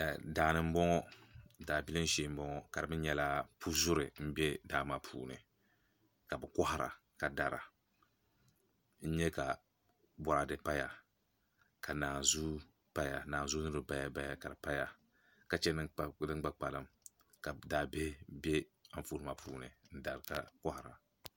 Daabilim shee n boŋo ka di mii nyɛla pu zuri n bɛ daa maa puuni ka bi kohara ka dara n nyɛ ka boraadɛ paya ka naanzuu mii paya paya ka di paya ka chɛ din gba kpalim ka daabihi bɛ Anfooni maa puuni n dari ka kohara